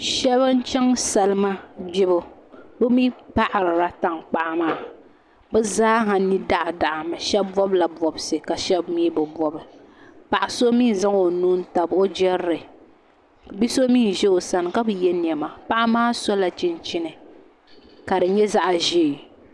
Shab n chɛŋ salima gbibu bi mii paɣarila tankpaɣu maa bi zaa ha ni daɣa daɣa mi shab bobla bobsi ka shab mii bi bob paɣa so mii n zaŋ o nuu n tabi o jirili bia so mii n ʒɛ o sani ka bi yɛ niɛma paɣa maa sola chinchin ka di nyɛ zaɣ ʒiɛ